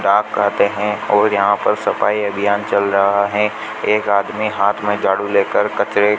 चाप कहते हैं और यहां पर सफाई अभियान चल रहा है एक आदमी हाथ में झाड़ू लेकर कचरे --